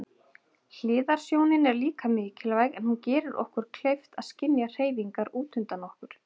Hliðarsjónin er líka mikilvæg en hún gerir okkur kleift að skynja hreyfingar útundan okkur.